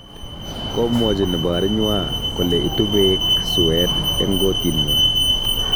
Komwochi nebo arinywa kole itu beek suet eng kotnywa